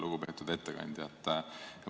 Lugupeetud ettekandja!